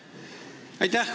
Aitäh!